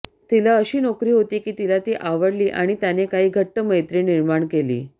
तिला अशी नोकरी होती की तिला ती आवडली आणि त्याने काही घट्ट मैत्री निर्माण केली